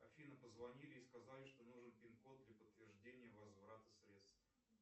афина позвонили и сказали что нужен пин код для подтверждения возврата средств